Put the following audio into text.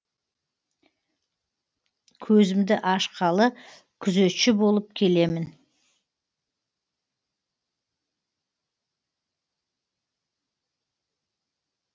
көзімді ашқалы күзетші болып келемін